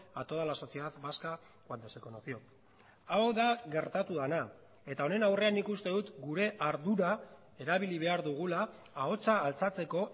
a toda la sociedad vasca cuando se conoció hau da gertatu dena eta honen aurrean nik uste dut gure ardura erabili behar dugula ahotsa altxatzeko